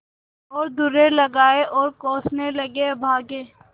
और दुर्रे लगाये और कोसने लगेअभागे